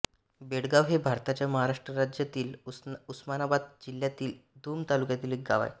बेळगाव हे भारताच्या महाराष्ट्र राज्यातील उस्मानाबाद जिल्ह्यातील भूम तालुक्यातील एक गाव आहे